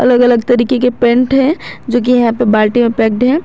अलग अलग तरीके के पेंट हैं जो कि यहां पे बाल्टी में पैक्ड हैं।